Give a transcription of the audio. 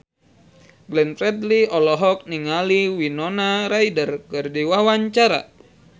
Glenn Fredly olohok ningali Winona Ryder keur diwawancara